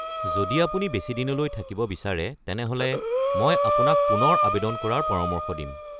যদি আপুনি বেছি দিনলৈ থাকিব বিচাৰে তেনেহ’লে মই আপোনাক পুনৰ আৱেদন কৰাৰ পৰামৰ্শ দিম।